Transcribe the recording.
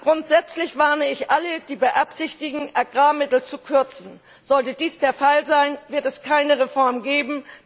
Grundsätzlich warne ich alle, die beabsichtigen, Agrarmittel zu kürzen. Sollte dies der Fall sein, wird es keine Reform geben.